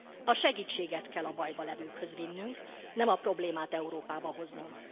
A segítséget kell a bajban levőkhöz vinnünk, nem a problémát Európába hoznunk.